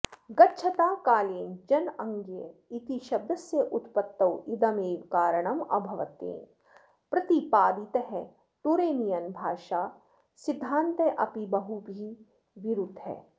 गच्छताकालेन जनाङ्गीय इति शब्दस्य उत्पत्तौ इदमेव कारणम् अभवत्तेन प्रतिपादितः टुरेनियन् भाषा सिद्धान्तः अपि बहुभिः विरुद्धः